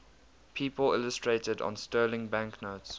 people illustrated on sterling banknotes